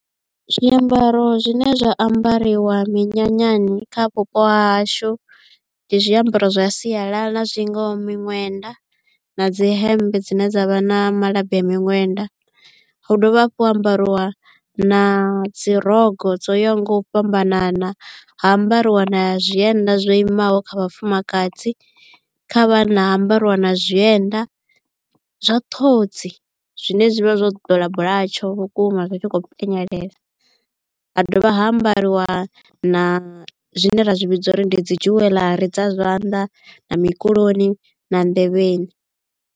Zwiambaro zwine zwa ambariwa minyanyani kha vhupo ha hashu ndi zwiambaro zwa sialala na zwingaho miṅwenda na dzi hemmbe dzine dza vha na malabi a miṅwenda. Hu dovha hafhu ha ambariwa na dzi rokho dzo yaho nga u fhambanana, ha ambariwa na zwienda zwo imaho kha vhafumakadzi. Kha vhana ha ambariwa na zwienda zwa ṱhodzi zwine zwivha zwo ḓola bulatsho vhukuma zwi tshi khou penyelela, ha dovha ha ambariwa na zwine ra zwi vhidza uri ndi dzi jewellery dza zwanḓa na mukuloni na nḓevheni.